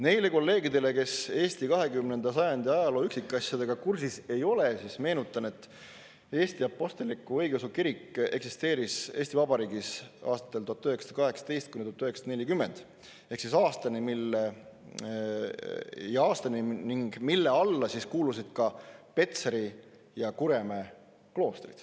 Neile kolleegidele, kes Eesti 20. sajandi ajaloo üksikasjadega kursis ei ole, meenutan, et Eesti Apostlik-Õigeusu Kirik eksisteeris Eesti Vabariigis aastatel 1918–1940 ning selle alla kuulusid ka Petseri ja Kuremäe klooster.